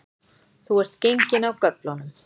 Þú ert genginn af göflunum